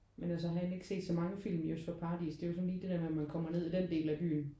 Men altså har egentlig ikke set så mange film i Øst for Paradis det er så jo lige det der med at man kommer ned i den del af byen